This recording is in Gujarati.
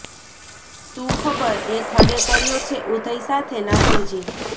શું ખબર એ થડે કર્યો છે ઉધઈ સાથે નાતો જી